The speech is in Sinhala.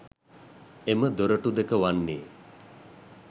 එම දොරටු දෙක වන්නේ